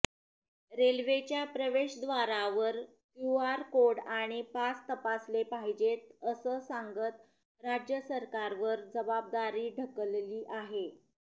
रेल्वेच्या प्रवेशद्वारावर QR code आणि पास तपासले पाहिजेत असं सांगत राज्य सरकारवर जबाबदारी ढकलली आहे